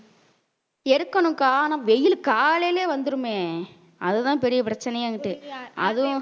எருக்கணும் காணோம் வெயில் காலயிலயே வந்துருமே அதுதான் பெரிய பிரச்சனையான்னுட்டு அதுவும்